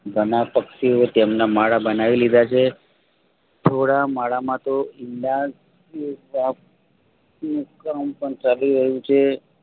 ઘણા પક્ષીઓ તેમના માળા બનાવી લીધાછે. થોડા માળા માતો ઈંડા મુકવાનું પણ ચાલુ રહ્યું છે